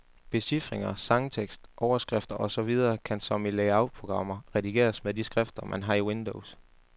Becifringer, sangtekst, overskrifter og så videre kan som i layoutprogrammer redigeres, med de skrifter man har i windows.